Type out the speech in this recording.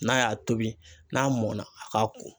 N'a y'a tobi n'a mɔnna a k'a ko.